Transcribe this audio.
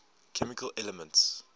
chemical elements